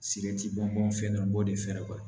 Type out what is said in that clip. Siki bɔnbɔn fɛn dɔ b'o de fɛ